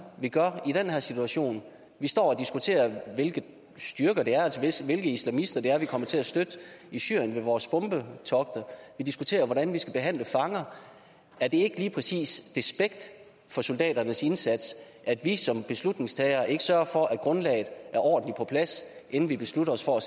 vi gør i den her situation vi står og diskuterer hvilke styrker det er altså hvilke islamister det er vi kommer til at støtte i syrien med vores bombetogter vi diskuterer hvordan vi skal behandle fanger er det ikke lige præcis despekt for soldaternes indsats at vi som beslutningstagere ikke sørger for at grundlaget er ordentligt på plads inden vi beslutter os for